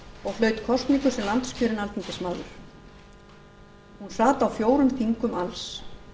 og hlaut kosningu sem landskjörinn alþingismaður hún sat á fjórum þingum alls